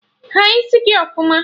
Haa isi gị ọfụma!